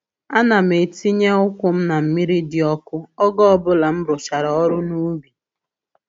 Ana m etinye ụkwụ m na mmiri dị ọkụ oge ọbụla m rụchara ọrụ n’ubi.